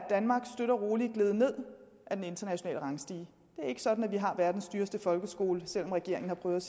gledet ned af den internationale rangstige det er ikke sådan at vi har verdens dyreste folkeskole selv om regeringen har prøvet